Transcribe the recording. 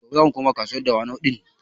Gobe zamu koma kasuwar Dawanau ɗin